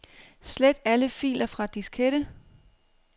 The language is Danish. Slet alle filer fra diskette.